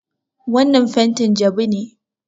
Wannan fentin jabu ne.